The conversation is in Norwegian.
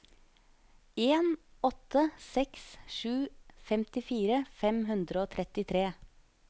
en åtte seks sju femtifire fem hundre og trettitre